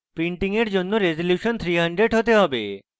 printing for জন্য resolution 300 হতে হবে